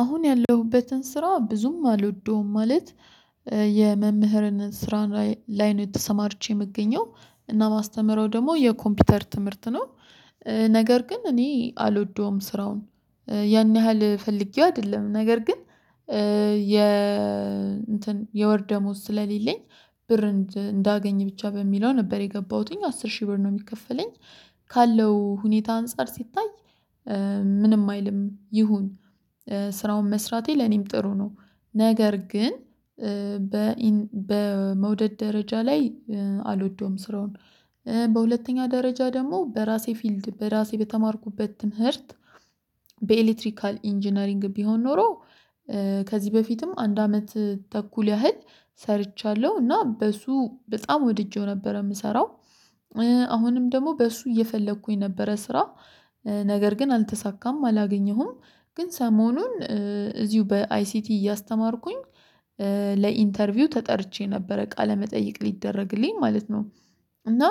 አሁን ያለሁበትን ስራ ብዙም አልወደውም ማለት የመምህርነት ስራ ላይ ነው የተሰማርቼ የምገኘው እና ማስተምረው ደግሞ የኮምፒውተር ትምህርት ነው። ነገር ግን እኔ አልወደውም ስራውን። ያን ያህል ፈልጌ አይደለም ነገር ግን የ እንትን የወር ደሞዝ ስለሌለኝ ብር እንዳገኝ ብቻ በሚለው ነበር የገባሁትኝ አስር ሺህ ብር ነው የሚከፈለኝ። ካለው ሁኔታ አንፃር ሲታይ ምንም አይልም ይሁን። ስራውን መስራቴ ለኔም ጥሩ ነው። ነገር ግን በመውደድ ደረጃ ላይ አልወደውም ስራውን። በሁለተኛ ደረጃ ደግሞ በራሴ ፊልድ በራሴ በተማርኩበት በኤሌክትሪካል ኢንጂነሪንግ ቢሆን ኖሮ ከዚህ በፊትም አንድ አመት ተኩል ያህል ሰርቻለሁ እና በሱ በጣም ወድጄው ነበር የምሰራው። አሁንም ደግሞ በሱ እየፈለኩኝ ነበረ ስራ ነገር ግን አልተሳካም አላገኘሁም። ግን ሰሞኑን እዚሁ በአይሲቲ እያስተማርኩኝ ለኢንተርቪው ተጠርቼ ነበረ ቃለመጠየቅ ሊደረግልኝ ማለት ነው። እና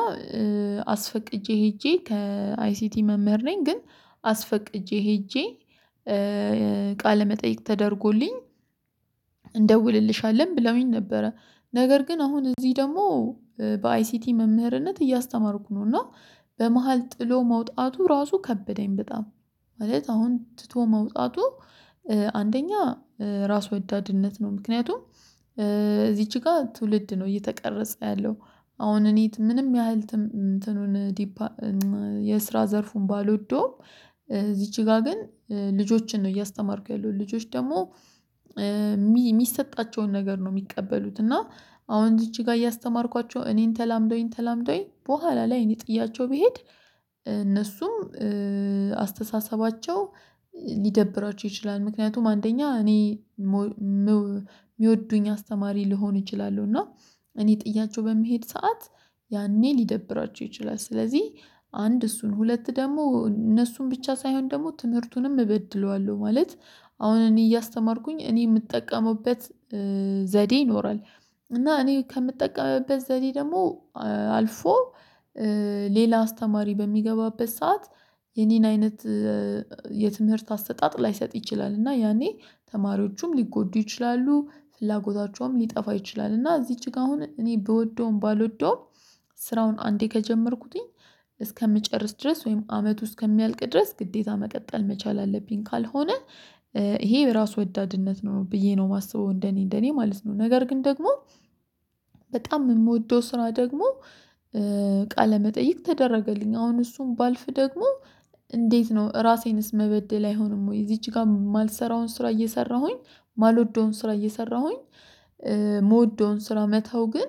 አስፈቅጄ ሄጄ ከአይሲቲ መምህር ነኝ ግን አስፈቅጄ ሄጄ ቃለመጠየቅ ተደርጎልኝ እንደውልልሻለን ብለውኝ ነበረ። ነገር ግን አሁን እዚህ ደግሞ በአይሲቲ መምህርነት እያስተማርኩ ነው እና በመሃል ጥሎ መውጣቱ ራሱ ከበደኝ በጣም። ማለት አሁን ትቶ መውጣቱ አንደኛ ራስ ወዳድነት ነው ምክንያቱም እዚች ጋር ትውልድ ነው እየተቀረጸ ያለው። አሁን እኔ ምንም ያህል እንትኑን የስራ ዘርፉን ባልወደውም እዚች ጋር ግን ልጆችን ነው እያስተማርኩ ያለው ልጆች ደግሞ የሚሰጣቸውን ነገር ነው የሚቀበሉት። እና አሁን እቺ ጋር እያስተማርኳቸው እኔን ተላምደውኝ ተላምደውኝ በኋላ ላይ እኔ ጥያቸው ብሄድ እነሱም አስተሳሰባቸው ሊደብራቸው ይችላል። ምክንያቱም አንደኛ እኔ የሚወዱኝ አስተማሪ ልሆን እችላለሁ እና እኔ ጥያቄው በመሄድ ሰዓት ያኔ ሊደብራቸው ይችላል። ስለዚህ አንድ እሱን ሁለት ደግሞ እነሱን ብቻ ሳይሆን ደግሞ ትምህርቱንም እበድለዋለሁ ማለት። አሁን እኔ እያስተማርኩኝ እኔ የምጠቀመውበት ዘዴ ይኖራል። እና እኔ ከምጠቀምበት ዘዴ ደግሞ አልፎ ሌላ አስተማሪ በሚገባበት ሰዓት የኔን አይነት የትምህርት አሰጣጥ ላይሰጥ ይችላል። እና ያኔ ተማሪዎቹም ሊጎዱ ይችላሉ ፍላጎታቸውም ሊጠፋ ይችላል። እና እዚች ጋር አሁን እኔ ብወደውም ባልወደውም ስራውን አንዴ ከጀመርኩትኝ እስከምጨርስ ድረስ ወይም አመቱ እስከሚያልቅ ድረስ ግዴታ መቀጠል መቻል አለብኝ። ካልሆነ ይሄ የራሱ ወዳድነት ነው ብዬ ነው የማስበው። እንደኔ እንደኔ ማለት ነው። ነገር ግን ደግሞ በጣም የምወደው ስራ ደግሞ ቃለመጠይቅ ተደረገልኝ አሁን እሱም ባልፍ ደግሞ እንዴት ነው እራሴንስ መበደል አይሆንም? ወይ እዚች ጋር የማልሰራውን ስራ እየሰራሁኝ የማልወደውን ስራ እየሰራሁኝ። የምወደውን ስራ መተው ግን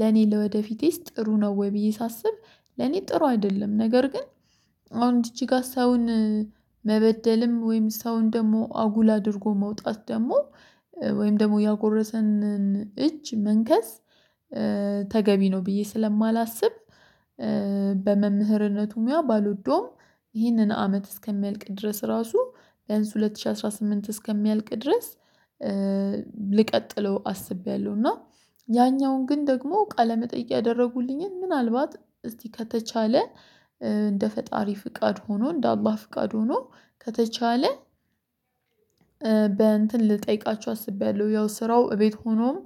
ለኔ ለወደፊት ጥሩ ነው ወይ ብዬ ሳስብ ለኔ ጥሩ አይደለም። ነገር ግን አሁን እቺ ጋር ሰውን መበደልም ወይም ሰውን ደግሞ አጉል አድርጎ መውጣት ደግሞ ወይም ደግሞ ያጎረሰንን እጅ መንከስ። ተገቢ ነው ብዬ ስለማላስብ። በመምህርነቱም ያ ባልወደውም ይህንን አመት እስከሚያልቅ ድረስ ራሱ ቢያንስ ሁለት ሺህ አስራ ስምንት እስከሚያልቅ ድረስ። ልቀጥለው አስቤያለሁ። እና ያኛውን ግን ደግሞ ቃለመጠይ ያደረጉልኝን ምናልባት እስቲ ከተቻለ እንደ ፈጣሪ ፍቃድ ሆኖ እንደ አላህባ ፍቃድ ሆኖ ከተቻለ በእንትን ልጠይቃችሁ አስቤያለሁ ያው ስራው እቤት ሆኖም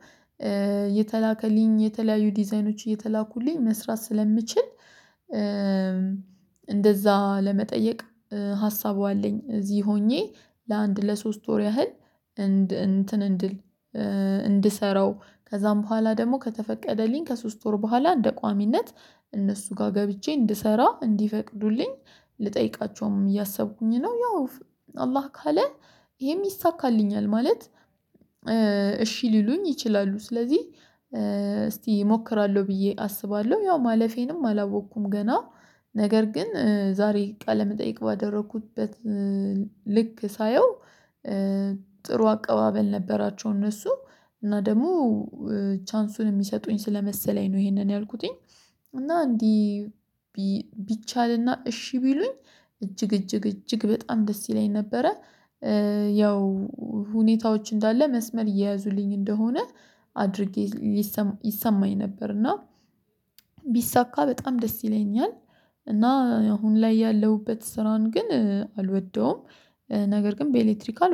የተላከልኝ የተለያዩ ዲዛይኖች እየተላኩልኝ መስራት ስለምችል። እንደዛ ለመጠየቅ ሀሳቡ አለኝ። እዚህ ሆኜ ለአንድ ለሶስት ወር ያህል እንድ እንትን እንድል እንድሰራው ከዛም በኋላ ደግሞ ከተፈቀደልኝ ከሶስት ወር በኋላ እንደ ቋሚነት እነሱ ጋር ገብቼ እንድሰራ እንዲፈቅዱልኝ ልጠይቃቸውም እያሰብኩኝ ነው። ያው አላህ ካለ ይሄም ይሳካልኛል። ማለት እሺ ሊሉኝ ይችላሉ። ስለዚህ እስቲ እሞክራለሁ ብዬ አስባለሁ። ያው ማለፌንም አላወቅኩም። ገና ነገር ግን ዛሬ ቃለ መጠይቅ ባደረኩበት ልክ ሳየው ጥሩ አቀባበል ነበራቸው እነሱ እና ደግሞ ቻንሱን የሚሰጡኝ ስለመሰለኝ ነው ይሄንን ያልኩትኝ። እና እንዲህ ቢቻልና እሺ ቢሉኝ እጅግ እጅግ እጅግ በጣም ደስ ይለኝ ነበረ። ያው ሁኔታዎች እንዳለ መስመር እየያዙልኝ እንደሆነ አድርጌ ይሰማኝ ነበር። እና ቢሳካ በጣም ደስ ይለኛል። እና አሁን ላይ ያለሁበት ስራን ግን አልወደውም። ነገር ግን በኤሌክትሪካል